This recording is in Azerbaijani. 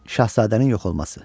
Şahzadənin yox olması.